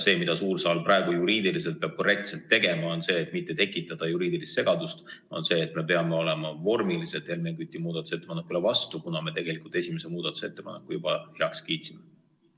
Et suur saal praegu juriidiliselt korrektselt tegutseks, peab ta, et mitte tekitada juriidilist segadust, vormiliselt Helmen Küti muudatusettepanekule vastu olema, kuna me tegelikult esimese muudatusettepaneku juba heaks kiitsime.